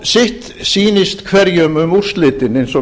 þótt sitt sýnist hverjum um úrslitin eins og